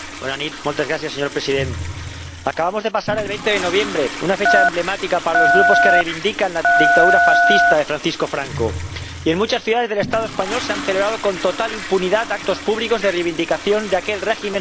Señor Presidente, acabamos de pasar el 20 de noviembre, una fecha emblemática para los grupos que reivindican la dictadura fascista de Francisco Franco, y en muchas ciudades del Estado español se han celebrado con total impunidad actos públicos de reivindicación de aquel régimen sanguinario.